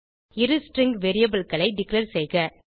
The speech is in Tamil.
இரு ஸ்ட்ரிங் variableகளை டிக்ளேர் செய்க